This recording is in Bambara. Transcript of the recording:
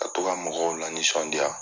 Ka to mɔgɔw lanisɔndiya.